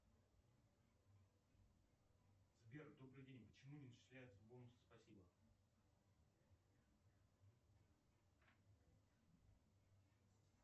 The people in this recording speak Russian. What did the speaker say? сбер добрый день почему не начисляются бонусы спасибо